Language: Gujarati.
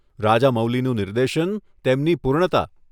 રાજામૌલીનું નિર્દેશન, તેમની પૂર્ણતા.